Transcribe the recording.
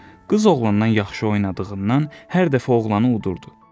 Qız oğlandan yaxşı oynadığından hər dəfə oğlanı udurdu.